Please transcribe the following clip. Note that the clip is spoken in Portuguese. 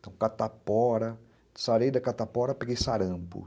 catapora, sarei da catapora, peguei sarampo.